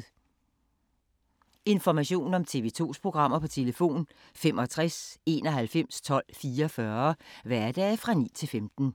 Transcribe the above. Information om TV 2's programmer: 65 91 12 44, hverdage 9-15.